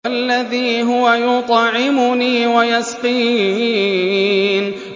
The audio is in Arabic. وَالَّذِي هُوَ يُطْعِمُنِي وَيَسْقِينِ